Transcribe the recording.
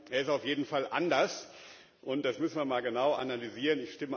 Er ist auf jeden Fall anders, und das müssen wir mal genau analysieren.